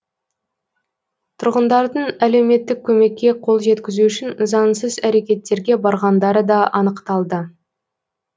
тұрғындардың әлеуметтік көмекке қол жеткізу үшін заңсыз әрекеттерге барғандары да анықталды